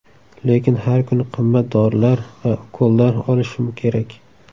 Lekin har kuni qimmat dorilar va ukollar olishim kerak.